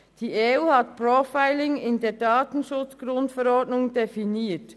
Die EU hat Profiling in der Datenschutzgrundverordnung definiert.